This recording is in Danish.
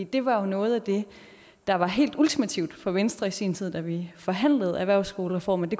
det var jo noget af det der var helt ultimativt for venstre i sin tid da vi forhandlede erhvervsskolereformen